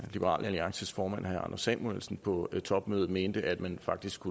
at liberal alliances formand herre anders samuelsen på topmødet mente at man faktisk